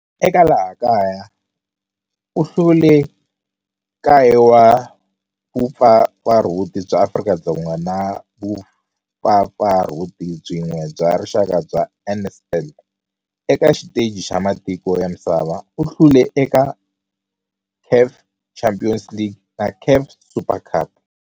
Eka laha kaya u hlule 9 wa vumpfampfarhuti bya Afrika-Dzonga na vumpfampfarhuti byin'we bya rixaka bya NSL. Eka xiteji xa matiko ya misava, u hlule eka CAF Champions League na CAF Super Cup.